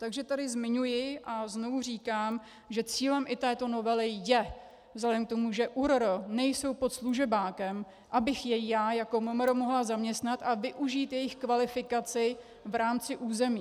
Takže tady zmiňuji a znovu říkám, že cílem i této novely je vzhledem k tomu, že ÚRR nejsou pod služebákem, abych je já jako MMR mohla zaměstnat a využít jejich kvalifikaci v rámci území.